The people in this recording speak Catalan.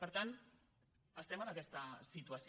per tant estem en aquesta situació